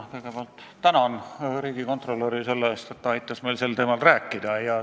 Ma kõigepealt tänan riigikontrolöri selle eest, et ta aitas meil sel teemal rääkida.